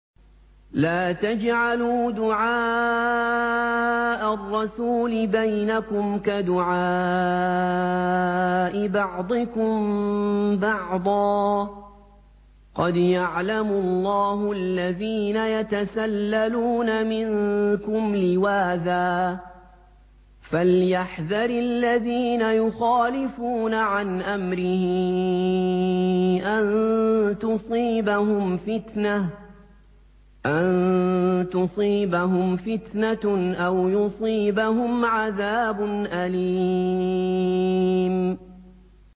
لَّا تَجْعَلُوا دُعَاءَ الرَّسُولِ بَيْنَكُمْ كَدُعَاءِ بَعْضِكُم بَعْضًا ۚ قَدْ يَعْلَمُ اللَّهُ الَّذِينَ يَتَسَلَّلُونَ مِنكُمْ لِوَاذًا ۚ فَلْيَحْذَرِ الَّذِينَ يُخَالِفُونَ عَنْ أَمْرِهِ أَن تُصِيبَهُمْ فِتْنَةٌ أَوْ يُصِيبَهُمْ عَذَابٌ أَلِيمٌ